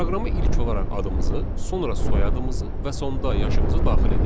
Proqrama ilk olaraq adımızı, sonra soyadımızı və sonda yaşımızı daxil edirik.